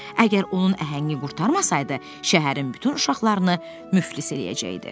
Əgər onun əhəngi qurtarmasaydı, şəhərin bütün uşaqlarını müflis eləyəcəkdi.